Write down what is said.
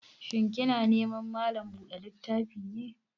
Shin kina neman malan buɗa littafi ne?